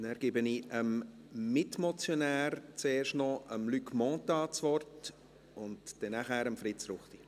Zuerst hat noch der Mitmotionär, Luc Mentha, das Wort und danach Fritz Ruchti.